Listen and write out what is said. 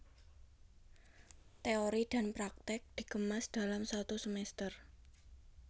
Teori dan praktek dikemas dalam satu semester